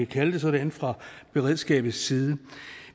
kalde det sådan fra beredskabets side